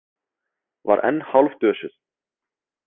Var enn hálfdösuð.